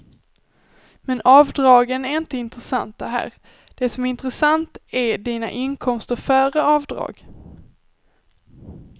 Men avdragen är inte intressanta här, det som är intressant är dina inkomster före avdrag.